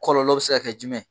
Kɔlɔlɔ bɛ se ka jumɛn